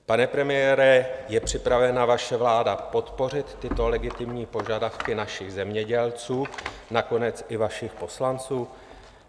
Pane premiére, je připravena vaše vláda podpořit tyto legitimní požadavky našich zemědělců, nakonec i vašich poslanců?